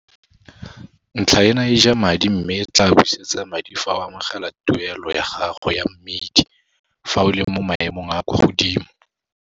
Ntlha ena e ja madi mme e tlaa busetsa madi fa o amogela tuelo ya gago ya mmidi fa o le mo maemong a a kwa godimo.